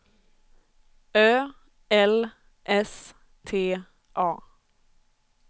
Ö L S T A